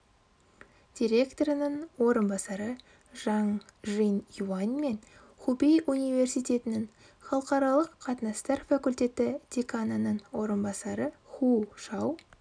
директорының орынбасары жанг жин юань мен хубей университетінің халықаралық қатынастар факультеті деканының орынбасары ху шау